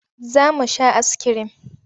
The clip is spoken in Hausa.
Za mu sha askirim.